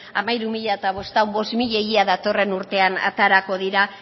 hamairu mila bostehun bost mila ia datorren urtean aterako dira